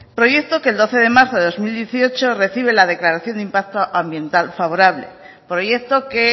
proyecto que el doce de marzo de dos mil dieciocho recibe la declaración de impacto ambiental favorable proyecto que